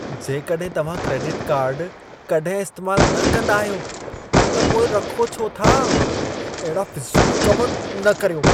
जेकॾहिं तव्हां credit card कॾहिं इस्तैमालु न कंदा आहियो त पोइ रखो छो था? अहिड़ा फ़िज़ूल कम न कर्यो।